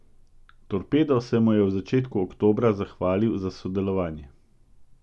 Torpedo se mu je v začetku oktobra zahvalil za sodelovanje.